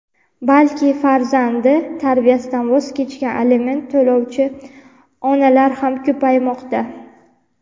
balki farzandi tarbiyasidan voz kechgan aliment to‘lovchi onalar ham ko‘paymoqda.